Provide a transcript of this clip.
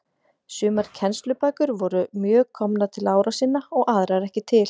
Sumar kennslubækur voru mjög komnar til ára sinna og aðrar ekki til.